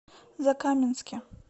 закаменске